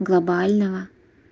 глобального